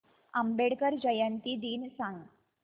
आंबेडकर जयंती दिन सांग